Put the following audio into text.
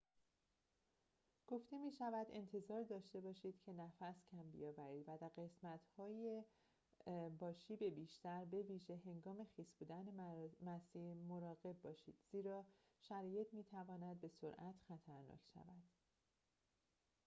گفته می شود انتظار داشته باشید که نفس کم بیاورید و در قسمت های با شیب بیشتر به ویژه هنگام خیس بودن مسیر مراقب باشید زیرا شرایط می تواند به سرعت خطرناک شود